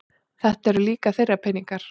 Þetta eru líka þeirra peningar